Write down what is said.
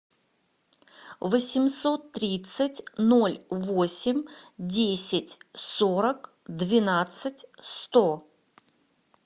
восемьсот тридцать ноль восемь десять сорок двенадцать сто